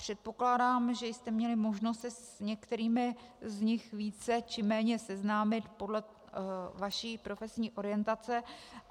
Předpokládám, že jste měli možnost se s některými z nich více či méně seznámit podle vaší profesní orientace.